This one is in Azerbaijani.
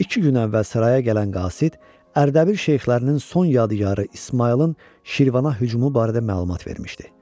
İki gün əvvəl saraya gələn qasid, Ərdəbil şeyxlərinin son yadigarı İsmayılın Şirvana hücumu barədə məlumat vermişdi.